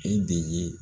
E de ye